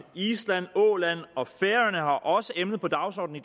island åland og færøerne har også emnet på dagsordenen